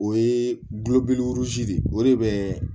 O ye gulobeleburasi de ye o de bɛ